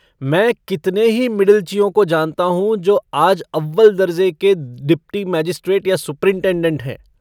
मैं कितने ही मिडिलचियों को जानता हूँ जो आज अव्वल दर्जे़ के डिप्टी मैजिस्ट्रेट या सुपरिंटेंडेंट हैं।